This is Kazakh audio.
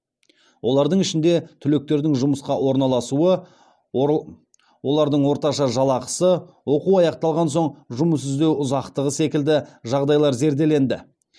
олардың ішінде түлектердің жұмысқа орналасуы олардың орташа жалақысы оқу аяқталған соң жұмыс іздеу ұзақтығы секілді жағдайлар зерделенді